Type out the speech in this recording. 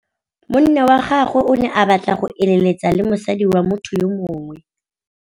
Monna wa gagwe o ne a batla go êlêtsa le mosadi wa motho yo mongwe.